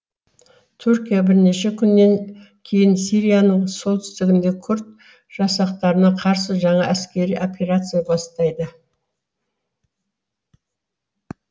түркия бірнеше күннен кейін сирияның солтүстігінде күрд жасақтарына қарсы жаңа әскери операция бастайды